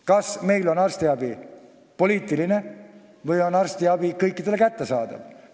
Kas meil on arstiabi poliitiline või on see kõikidele kättesaadav?